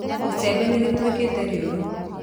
Icembe nĩ rĩtuĩkĩte rĩũru